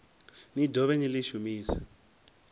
ni dovhe ni ḽi shumise